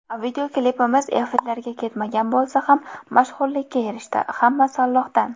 Videoklipimiz efirlarga ketmagan bo‘lsa ham mashhurlikka erishdi, hammasi Allohdan.